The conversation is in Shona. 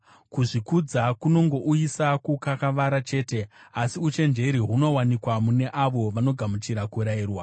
Kuzvikudza kunongouyisa kukakavara chete, asi uchenjeri hunowanikwa mune avo vanogamuchira kurayirwa.